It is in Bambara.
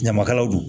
Ɲamakalaw don